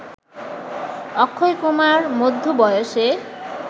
অক্ষয়কুমার মধ্য বয়সে